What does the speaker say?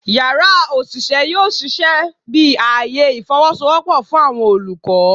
Yara oṣiṣẹ yoo ṣiṣẹ bi aaye ifowosowopo fun awọn olukọ